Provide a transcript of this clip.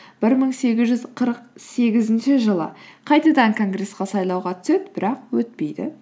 бір мың сегіз жүз қырық сегізінші жылы қайтадан конгресске сайлауға түседі бірақ өтпейді